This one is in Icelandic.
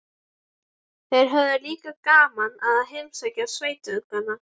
Þær höfðu líka gaman af að heimsækja sveitungana.